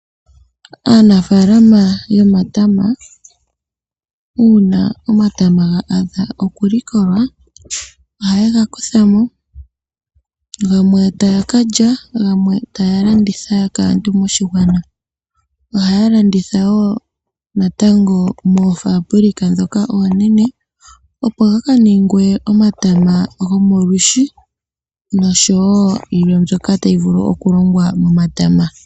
Aanafaalama yomatama uuna omatama ga adha okulikolwa ohaye ga kutha mo gamwe taya ka lya, gamwe taya landitha kaantu moshigwana. Ohaya landitha wo natango moofaabulika ndhoka oonene opo ga ka ningwe omatama gomolwiishi nosho wo yilwe mbyoka tayi vulu okulongwa momatama.